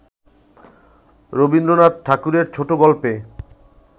রবীন্দ্রনাথ ঠাকুরের ছোটগল্পে